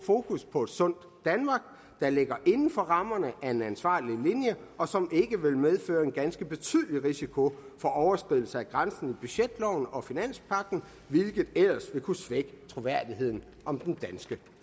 fokus på et sundt danmark der ligger inden for rammerne af en ansvarlig linje og som ikke vil medføre en ganske betydelig risiko for overskridelse af grænsen i budgetloven og finanspagten hvilket ellers ville kunne svække troværdigheden om den danske